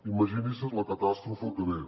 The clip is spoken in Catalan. imagini’s la catàstrofe que ve